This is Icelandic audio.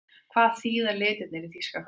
Hvað þýða litirnir í þýska fánanum?